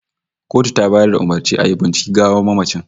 The autopsy was ordered by the court